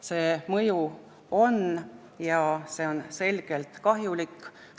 See mõju on ja see on selgelt kahjulik.